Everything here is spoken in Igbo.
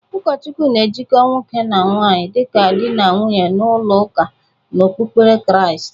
Ụkọchukwu na-ejikọ nwoke na nwaanyị dịka dị na nwunye n'ụlọ ụka n'okpukpere Kriast.